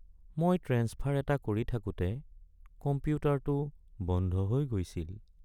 মই ট্ৰেন্সফাৰ এটা কৰি থাকোঁতে কম্পিউটাৰটো বন্ধ হৈ গৈছিল।